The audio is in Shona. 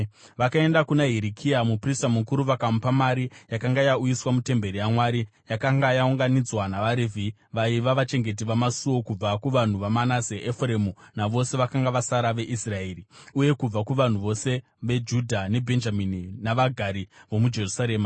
Vakaenda kuna Hirikia muprista mukuru vakamupa mari yakanga yauyiswa mutemberi yaMwari, yakanga yaunganidzwa navaRevhi vaiva vachengeti vamasuo, kubva kuvanhu vaManase, Efuremu navose vakanga vasara veIsraeri uye kubva kuvanhu vose veJudha neBhenjamini navagari vomuJerusarema.